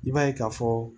I b'a ye ka fɔ